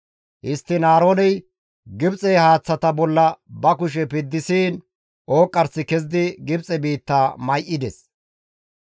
Histtiin Aarooney Gibxe haaththata bolla ba kushe piddisiin ooqqarsi kezidi Gibxe biitta may7ides.